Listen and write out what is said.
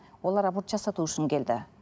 олар аборт жасату үшін келді